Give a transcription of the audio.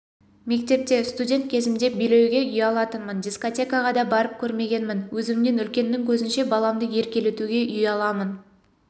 мектепте студент кезімде билеуге ұялатынмын дискотекаға да барып көрмегенмін өзімнен үлкеннің көзінше баламды еркелетуге ұяламын